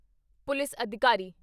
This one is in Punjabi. ਪੁਲਿਸ ਅਧਿਕਾਰੀ